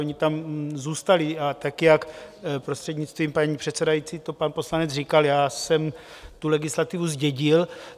Ony tam zůstaly, a tak jak - prostřednictvím paní předsedající - to pan poslanec říkal, já jsem tu legislativu zdědil.